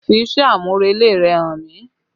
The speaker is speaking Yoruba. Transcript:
Fi iṣẹ́ amurele rẹ hàn mí!